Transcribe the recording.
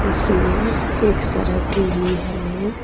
उसमें एक सड़क भी है।